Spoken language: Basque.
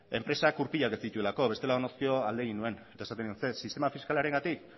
enpresak gurpilak ez dituelako bestela alde egin nuen eta esan nion ze sistema fiskalarengatik